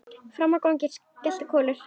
Frammi í gangi geltir Kolur.